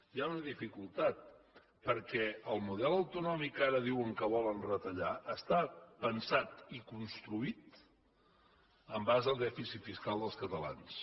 hi ha una dificultat perquè el model autonòmic que ara diuen que volen retallar està pensat i construït sobre la base del dèficit fiscal dels catalans